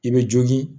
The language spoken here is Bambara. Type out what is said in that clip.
I bɛ jogi